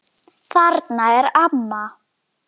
Þarna er amma!